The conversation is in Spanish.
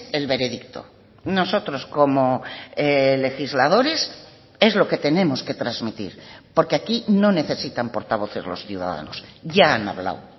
el veredicto nosotros como legisladores es lo que tenemos que transmitir porque aquí no necesitan portavoces los ciudadanos ya han hablado